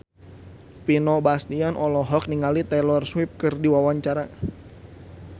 Vino Bastian olohok ningali Taylor Swift keur diwawancara